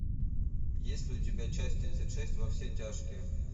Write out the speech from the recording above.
есть ли у тебя часть тридцать шесть во все тяжкие